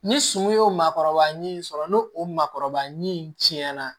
Ni sunun y'o maakɔrɔba ɲinini sɔrɔ n'o o maakɔrɔba ɲinini tiɲɛna